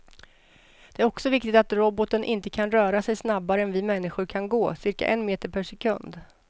Det är också viktigt att roboten inte kan röra sig snabbare än vi människor kan gå, cirka en meter per sekund.